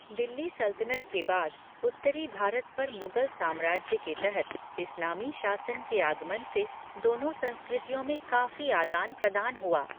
दिल्ली सल्तनत के बाद उत्तरी भारत पर मुगल साम्राज्य के तहत इस्लामी शासन के आगमन से दोनों संस्कृतियों में काफ़ी आदान प्रदान हुआ।